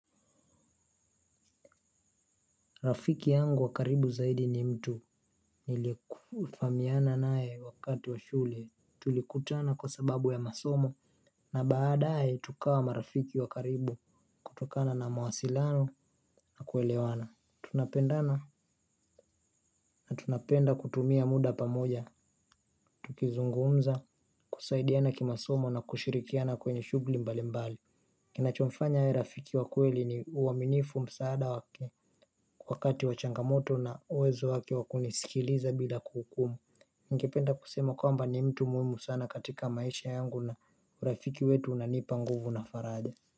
Rafiki yangu wa karibu zaidi ni mtu nilifahamiana naye wakati wa shule. Tulikutana kwa sababu ya masomo na baadaye tukawa marafiki wa karibu kutokana na mawasilano na kuelewana. Tunapendana na tunapenda kutumia muda pamoja, tukizungumza, kusaidiana kimasomo na kushirikiana kwenye shughli mbali mbali. Kinachomfanya awe rafiki wa kweli ni uaminifu, msaada wake wakati wa changamoto na uwezo wake wa kunisikiliza bila kuhukumu. Ningependa kusema kwamba ni mtu muhimu sana katika maisha yangu na urafiki wetu unanipa nguvu na faraja.